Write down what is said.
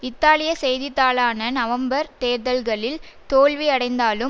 இத்தாலிய செய்தித்தாளான நவம்பர் தேர்தல்களில் தோல்வியடைந்தாலும்